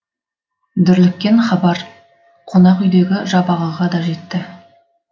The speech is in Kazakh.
дүрліккен хабар қонақ үйдегі жабағыға да жетті